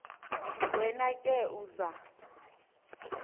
wena ke uza